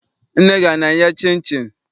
Nne gị ana-eye chịnchịn?